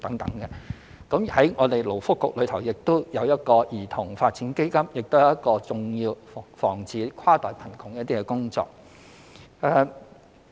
以勞工及福利局而言，兒童發展基金亦是一項重要的防止跨代貧窮工作。